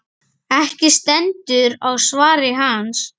Ekki stendur á svari hans.